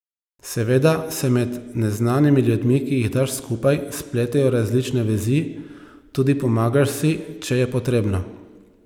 Seveda se med neznanimi ljudmi, ki jih daš skupaj, spletejo različne vezi, tudi pomagaš si, če je potrebno.